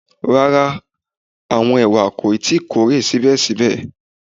Rara, awọn ewa ko tii kore sibẹsibẹ